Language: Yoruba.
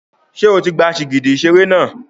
Ṣé o ti gba sìgìdì ìṣeré náà?